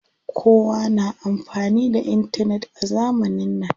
Kowa na amfani da intanet a zamanin nan.